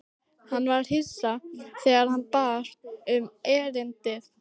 Hann var hissa þegar hún bar upp erindið.